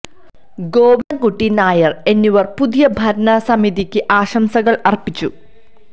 ഗോവിന്ദൻ കുട്ടി നായർ എന്നിവർ പുതിയ ഭരണ സമിതിക്ക് ആശംസകൾ അർപ്പിച്ചു